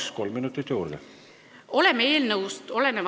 Palun, kolm minutit juurde!